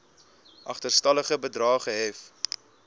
agterstallige bedrae gehef